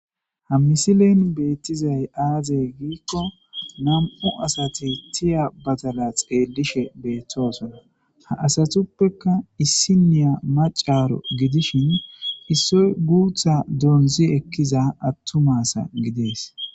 ha misilenu beettizay aazey giikko nam7u asati tiya badala xeellishe beettoosona ha asatuppeka issiniya macaro gidishin issoy guutha doonzi ekkiza attumasa gidees